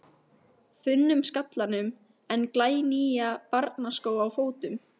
þunnum skallanum en glænýja barnaskó á fótum.